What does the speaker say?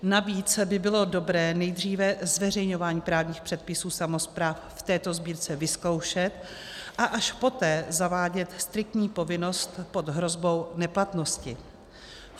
Navíc by bylo dobré nejdříve zveřejňování právních předpisů samospráv v této sbírce vyzkoušet, a až poté zavádět striktní povinnost pod hrozbou neplatnosti.